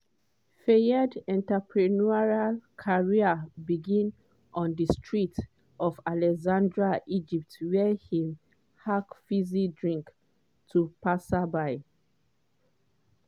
fayed entrepreneurial career begin on di streets of alexandria egypt wia im hawk fizzy drinks to passers-by.